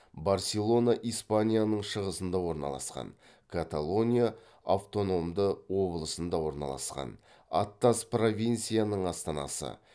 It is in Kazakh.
барселона испанияның шығысында орналасқан каталония аутономды обылысында орналасқан аттас провинциясының астанасы